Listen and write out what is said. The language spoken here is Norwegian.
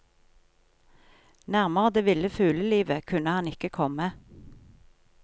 Nærmere det ville fuglelivet kunne han ikke komme.